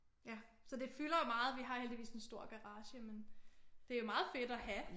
Ja så det fylder jo meget vi har heldigvis en stor garage men det er meget fedt at have